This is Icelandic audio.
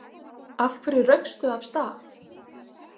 Af hverju raukstu af stað?